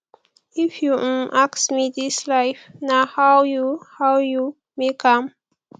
if you um ask me dis life na how you how you make am